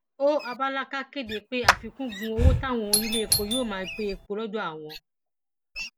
ó abálàkà kéde pé àfikún gun owó táwọn oníléepo yóò máa gbé epo lọdọ àwọn